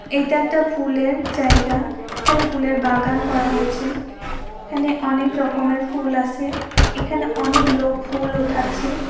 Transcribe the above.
এটা একটা ফুলেরজায়গা এখানে ফুলের বাগান করা হয়েছে এখানে অনেক রকমের ফুল আসে এখানে অনেক লোক ফুল উথাচ্ছে।